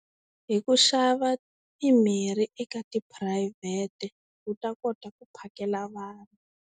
Hi ku xava mimirhi eka tiphurayivhete u ta kota ku phakela vanhu.